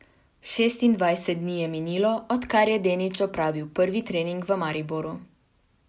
Šestindvajset dni je minilo, odkar je Denič opravil prvi trening v Mariboru.